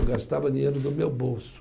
Eu gastava dinheiro do meu bolso.